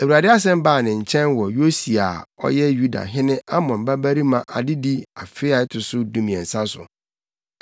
Awurade asɛm baa ne nkyɛn wɔ Yosia a ɔyɛ Yuda hene Amon babarima adedi afe a ɛto so dumiɛnsa no mu.